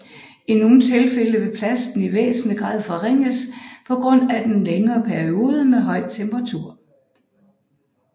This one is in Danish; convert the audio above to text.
I nogle tilfælde vil plasten i væsentlig grad forringes på grund af den længere periode med høj temperatur